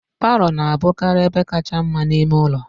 Palọ na-abụkarị ebe kacha mma n'ime ụlọ